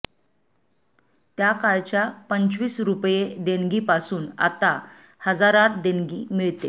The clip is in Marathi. त्या काळच्या पंचवीस रुपये देणगीपासून आता हजारांत देणगी मिळते